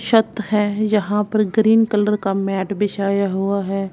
छत है यहां पर ग्रीन कलर का मैट बिछाया हुआ है।